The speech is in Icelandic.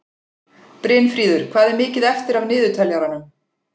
Brynfríður, hvað er mikið eftir af niðurteljaranum?